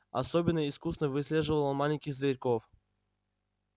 особенно искусно выслеживал он маленьких зверьков